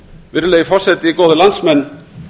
virðulegi forseti góðir landsmenn